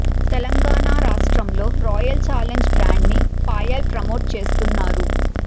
తెలంగాణా రాష్ట్రంలో royal challenge brand ని Payal promote చేస్తున్నారు